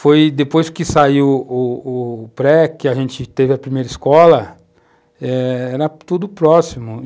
Foi depois que saiu o o pré, que a gente teve a primeira escola, era tudo próximo.